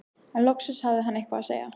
En loksins hafði hann eitthvað að segja.